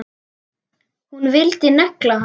Hún vildi negla hann!